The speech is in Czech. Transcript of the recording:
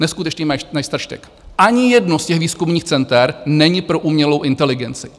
Neskutečný majstrštyk, ani jedno z těch výzkumných center není pro umělou inteligenci.